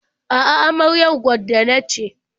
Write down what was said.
A'a, amaryar gwaddo na ce.